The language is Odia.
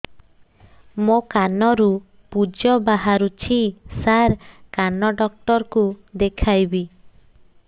ମୋ କାନରୁ ପୁଜ ବାହାରୁଛି ସାର କାନ ଡକ୍ଟର କୁ ଦେଖାଇବି